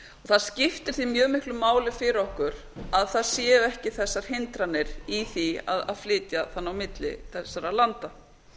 það skiptir því mjög miklu máli fyrir okkur að það séu ekki þessar hindranir í því að flytja þarna á milli þessara landa